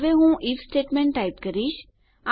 હવે હું IF statement type કરીશ